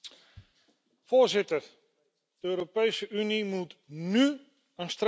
Voorzitter, de Europese Unie moet nu een streep trekken.